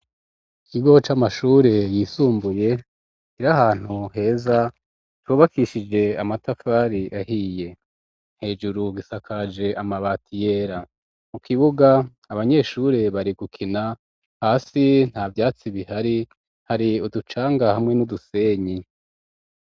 Ikigo c'amashure yisumbuye, kiri ahantu heza ,cubakishije amatafari ahiye, hejuru gisakaje amabati yera ,mu kibuga abanyeshure bari gukina hasi nta vyatsi bihari ,hari uducanga hamwe n'udusenyi.